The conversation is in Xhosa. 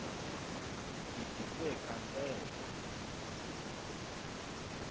ugidise kant eso